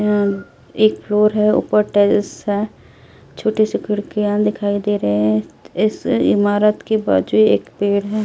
एक फ्लोर है ऊपर टेरेस है छोटी सी खिड़कियां दिखाई दे रहे हैं इस इमारत के बाजू एक पेड़ है।